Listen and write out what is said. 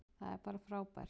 Það er bara frábært.